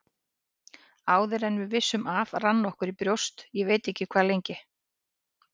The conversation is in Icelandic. Áður en við vissum af rann okkur í brjóst, ég veit ekki hvað lengi.